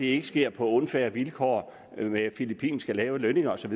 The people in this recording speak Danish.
ikke sker på unfair vilkår med filippinske lave lønninger osv